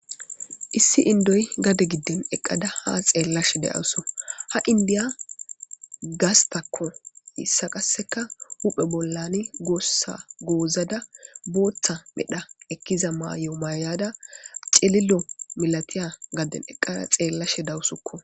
Issi inddoy gade giddon eqqada haa xeellashe de'awusu. Ha indiya gastako hessa qassekka huphe bollan goossa goozada booththa medhdha ekkiza mayo mayada cililo milatiya gaden eqqada xeelashe de'awusukko.